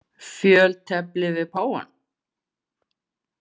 Fjöltefli við páfann.